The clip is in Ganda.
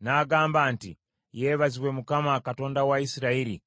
n’agamba nti, ‘Yeebazibwe Mukama , Katonda wa Isirayiri,